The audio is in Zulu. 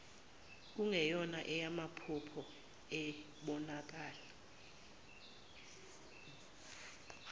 kungeyona eyamaphupho ibonakala